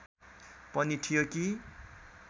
पनि थियो कि